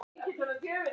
Nei, ekki hann ég.